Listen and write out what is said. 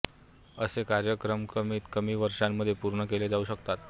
असे कार्यक्रमकमीत कमी वर्षांमध्ये पूर्ण केले जाऊ शकतात